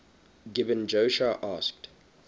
gibeon joshua asked